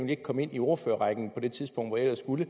kan komme ind i ordførerrækken på det tidspunkt hvor jeg ellers skulle